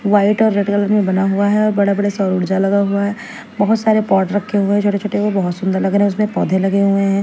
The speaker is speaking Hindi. वाइट और रेड कलर में बना हुआ है और बड़े-बड़े सौर ऊर्जा लगा हुआ है बहुत सारे पॉट रखे हुए हैं छोटे-छोटे वो बहुत सुंदर लग रहे हैं उसमें पौधे लगे हुए हैं।